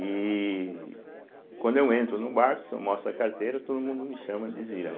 E quando eu entro num barco, se eu mostro a carteira, todo mundo me chama de Zira, né